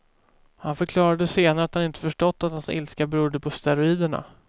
Han förklarade senare att han inte förstått att hans ilska berodde på steroiderna.